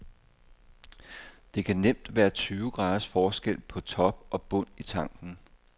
Der kan nemt være tyve graders forskel på top og bund i tanken.